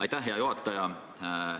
Aitäh, hea juhataja!